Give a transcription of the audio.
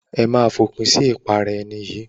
Ẹ máa fòpin sí ìpara ẹni yìí.